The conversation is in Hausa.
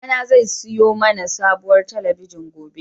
Babana zai siyo mana sabuwar talabijin gobe.